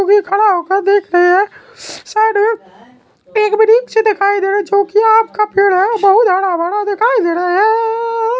जोकि खड़ा होकर देख रहे है साइड में दिखाई दे रहा है जोकि आम का पेड़ है और बहुत हरा-भरा दिखाई दे रहा है।